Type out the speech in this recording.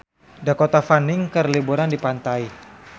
Dakota Fanning keur liburan di pantai